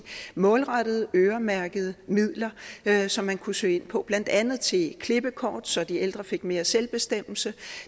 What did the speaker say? målrettet øremærkede midler som man kunne søge ind på blandt andet til klippekort så de ældre fik mere selvbestemmelse